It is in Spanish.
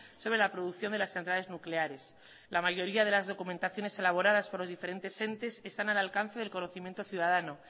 sobre la producción de las centrales nucleares la mayoría de las documentaciones elaboradas por los diferentes entes están al alcance del conocimiento ciudadano